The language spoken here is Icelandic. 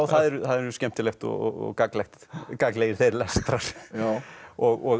það er skemmtilegt og gagnlegir og gagnlegir þeir lestrar og